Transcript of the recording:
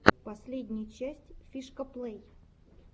последняя часть фишкаплэй